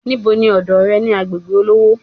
Níbo ni ọ̀dọ̀ re ni agbègbè olówó